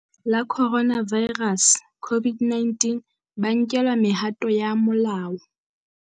la Coronavirus COVID-19, ba nkelwa mehato ya molao.